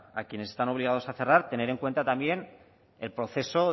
a quienes están obligados a cerrar tener en cuenta también el proceso